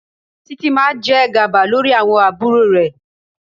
Títí máa jẹ gàba lórí àwọn àbúrò rẹ̀.